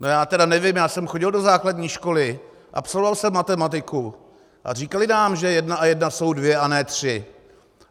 No já tedy nevím, já jsem chodil do základní školy, absolvoval jsem matematiku a říkali nám, že jedna a jedna jsou dvě a ne tři.